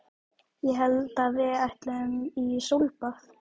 Ég hélt að við ætluðum í sólbað!